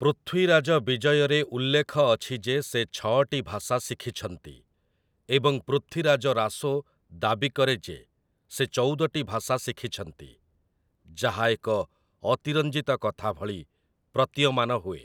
ପୃଥ୍ୱୀରାଜ ବିଜୟ'ରେ ଉଲ୍ଲେଖ ଅଛି ଯେ ସେ ଛଅଟି ଭାଷା ଶିଖିଛନ୍ତି ଏବଂ 'ପୃଥ୍ୱୀରାଜ ରାସୋ' ଦାବି କରେ ଯେ ସେ ଚଉଦଟି ଭାଷା ଶିଖିଛନ୍ତି, ଯାହା ଏକ ଅତିରଞ୍ଜିତ କଥା ଭଳି ପ୍ରତୀୟମାନ ହୁଏ ।